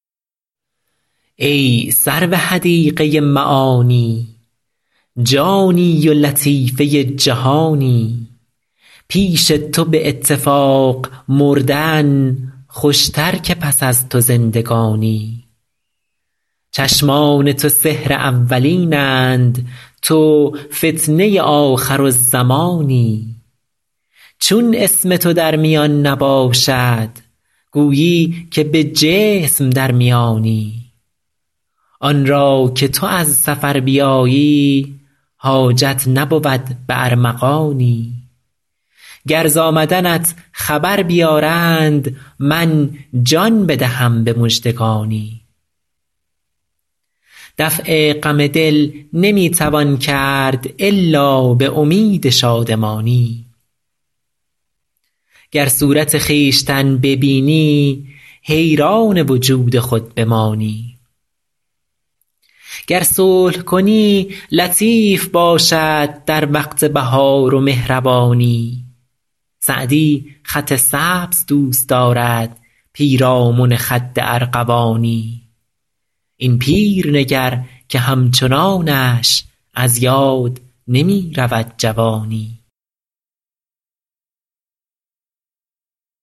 ای سرو حدیقه معانی جانی و لطیفه جهانی پیش تو به اتفاق مردن خوشتر که پس از تو زندگانی چشمان تو سحر اولین اند تو فتنه آخرالزمانی چون اسم تو در میان نباشد گویی که به جسم در میانی آن را که تو از سفر بیایی حاجت نبود به ارمغانی گر ز آمدنت خبر بیارند من جان بدهم به مژدگانی دفع غم دل نمی توان کرد الا به امید شادمانی گر صورت خویشتن ببینی حیران وجود خود بمانی گر صلح کنی لطیف باشد در وقت بهار و مهربانی سعدی خط سبز دوست دارد پیرامن خد ارغوانی این پیر نگر که همچنانش از یاد نمی رود جوانی